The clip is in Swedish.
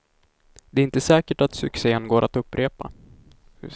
Det är inte säkert att succén går att upprepa.